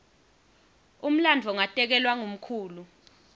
umlandvo ngatekelwa ngumkhulu